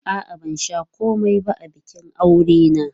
A'a, ban sha komai ba a bikin aurensu.